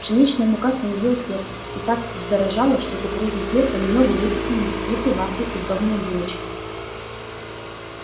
пшеничная мука становилась редкостью и так вздорожала что кукурузный хлеб понемногу вытеснил бисквиты вафли и сдобные булочки